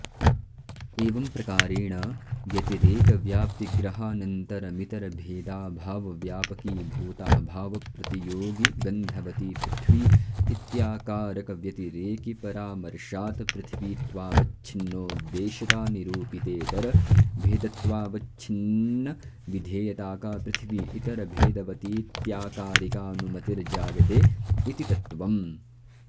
एवंप्रकारेण व्यतिरेकव्याप्तिग्रहानन्तरमितरभेदाभावव्यापकीभूताभावप्रतियोगिगन्धवती पृथिवी इत्याकारकव्यतिरेकिपरामर्शात् पृथिवीत्वावच्छिन्नोद्देश्यतानिरूपितेतरभेदत्वावच्छिन्नविधेयताका पृथिवी इतरभेदवतीत्याकारिकानुमितिर्जायते इति तत्त्वम्